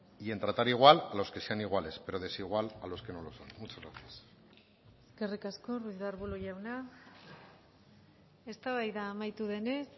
y en tratar igual los que sean iguales pero desigual a los que no lo son muchas gracias eskerrik asko ruiz de arbulo jauna eztabaida amaitu denez